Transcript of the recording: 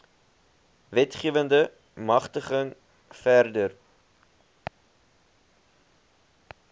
wetgewende magtiging verder